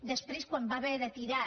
després quan va haver de tirar